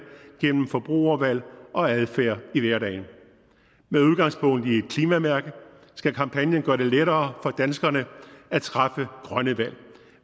gennem forbrugervalg og adfærd i hverdagen med udgangspunkt i klimamærke skal kampagnen gøre det lettere for danskerne at træffe grønne valg